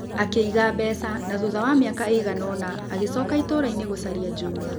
Akĩiga mbeca na thutha wa mĩaka ĩigana ũna, agĩcoka itũũra-inĩ gũcaria Juma.